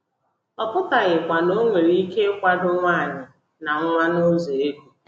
Ọ pụtaghịkwa na ọ nwere ike ịkwado nwanyị na nwa n’ụzọ ego.